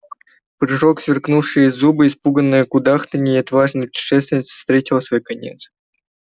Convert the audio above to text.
прыжок сверкнувшие зубы испуганное кудахтанье и отважная путешественница встретила свой конец